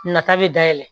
Nata bɛ dayɛlɛ